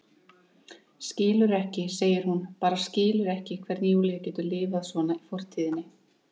Skilur ekki, segir hún, bara skilur ekki hvernig Júlía getur lifað svona í fortíðinni.